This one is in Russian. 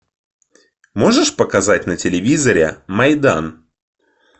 можешь показать на телевизоре майдан